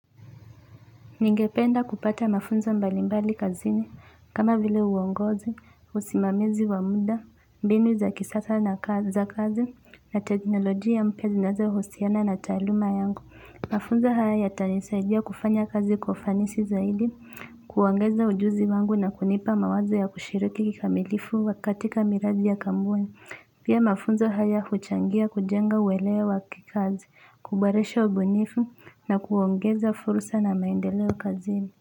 Ningependa kupata mafunzo mbalimbali kazini, kama vile uongozi, usimamizi wa muda, mbinu za kisasa za kazi na teknolojia mpya zinazohusiana na taaluma yangu. Mafunzo haya yatanisaidia kufanya kazi kwa ufanisi zaidi, kuongeza ujuzi wangu na kunipa mawazo ya kushiriki kikamilifu katika miradi ya kampuni. Pia mafunzo haya huchangia kujenga uwelewa wa kikazi, kuboresha ubunifu na kuongeza fursa na maendeleo kazini.